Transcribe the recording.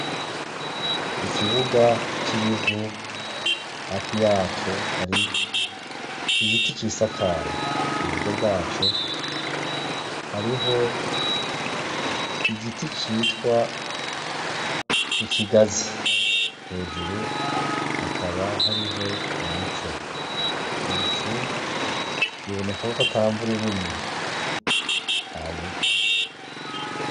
Ikibuga cibivu hafi yaco hari igiti gisakaye muburyo bwaco hariho igiti citwa ikigazi hejuru hakaba hariho umuco ibicu biboneka kwatamvura irimwo ntayirwa